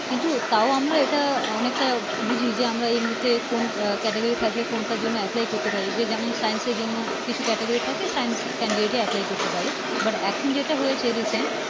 কিন্তু তাও আমরা এটা অনেক টা বুঝি যে এই মুহূর্তে কোন Category থাকলে কোনটার জন্য Apply করতে পারি যে যেমন Science এর জন্যে কিছু Category থাকে Science Candidate apply করতে পারে But এখন যেটা হয়েছে recent